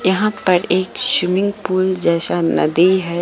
यहां पर एक शविमिंग पूल जैसा नदी है।